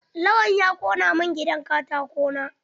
Lawan ya ƙona min gidan katako na.